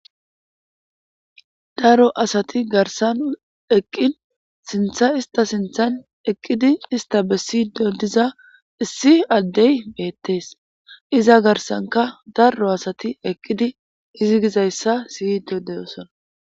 Daro asati garsan eqqin sintha ista sinthan eqqidi ista bessiydo diza issi addey beettees iza garsanka daro asati eqqidi izi gizayssa siydo deyosona